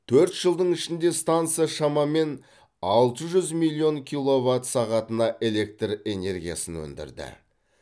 төрт жылдың ішінде станса шамамен алты жүз миллион киловатт сағатына электр энергиясын өндірді